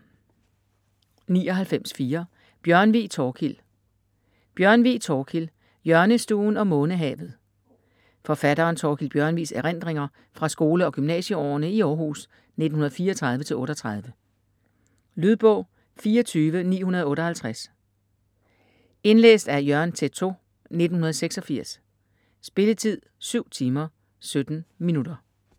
99.4 Bjørnvig, Thorkild Bjørnvig, Thorkild: Hjørnestuen og månehavet Forfatteren Thorkild Bjørnvigs erindringer fra skole- og gymnasieårene i Århus 1934-38. Lydbog 24958 Indlæst af Jørgen Teytaud, 1986. Spilletid: 7 timer, 17 minutter.